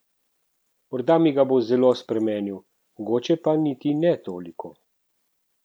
Morda mi ga bo zelo spremenil, mogoče pa niti ne toliko.